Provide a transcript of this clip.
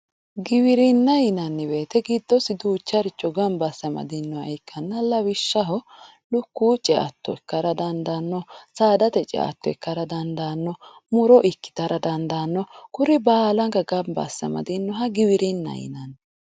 Giwirinna yinanni woyte giddose duucharicho giddosi gamba asse amadinoha ikkanna lawishshaho, lukkuwu ceatto ikkara dandaanno, saadate ceatto ikkara dandaanno, muro ikkitara dandiitanno kuri baalanka gamba asse amadinoha giwirinnaho yinanni.